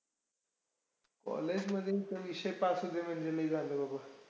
college मध्ये हिथ विषय pass होउदे म्हणजे लय झालं बाबा.